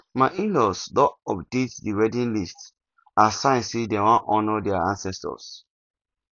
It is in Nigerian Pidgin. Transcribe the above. my inlaws don update the wedding list as sign say dem wan honour their ancestors